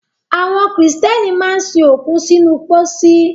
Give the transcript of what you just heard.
Àwọn Kìrìtẹ́nì máa ń sin òkú sínú pósí